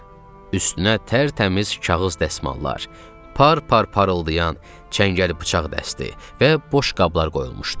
Üstünə tərtəmiz kağız dəsmallar, par-par parıldayan çəngəl bıçaq dəsti və boşqablar qoyulmuşdu.